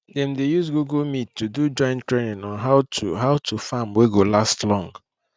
dem dey use google meet to do joint training on how to how to farm wey go last long